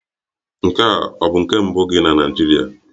Nke a ọ bụ nke mbụ gị na Naịjirịa?